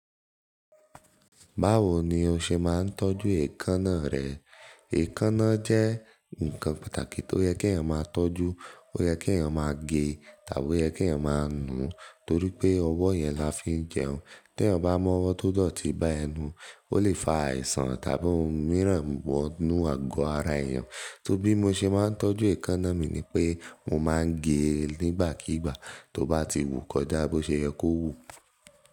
Báwo ni o ṣe máa ń tọ́jú èékánná rẹ? Èékánná jẹ́ nǹkan pàtàkì tó yẹ kí èèyàn máa tọ́jú. Ó yẹ kí èèyàn máa gé tàbí ó yẹ kí èèyàn máa nù torí pé ọwọ́ yẹn la fi ń jẹun. Tí èèyàn bá mọ́wọ́ tó dọ̀tí bá ẹnu, ó lè fa àìsàn tàbí ohun mìíràn gbọ́dọ̀ nù àgọ́ ara èèyàn. Torí bí mo ṣe máa ń tọ́jú èékánná mi ni pé mo máa ń gé e nígbàkígbà. Tó bá ti wù kọjá bó ṣe yẹ kó wù.